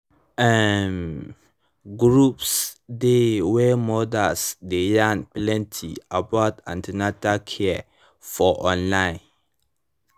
um groups dey wey mothers dey yarn plenty about an ten atal care for online